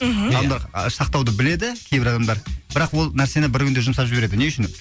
мхм адамдар сақтауды біледі кейбір адамдар бірақ ол нәрсені бір күнде жұмсап жібереді не үшін